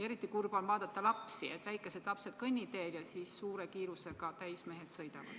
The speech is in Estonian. Eriti kurb on vaadata lapsi, väikesed lapsed on kõnniteel ja siis suure kiirusega täismehed sõidavad.